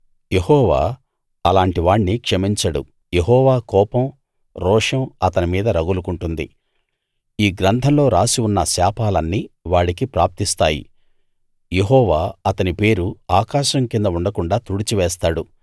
యెహోవా అలాంటివాణ్ణి క్షమించడు యెహోవా కోపం రోషం అతని మీద రగులుకుంటుంది ఈ గ్రంథంలో రాసి ఉన్న శాపాలన్నీ వాడికి ప్రాప్తిస్తాయి యెహోవా అతని పేరు ఆకాశం కింద ఉండకుండాా తుడిచి వేస్తాడు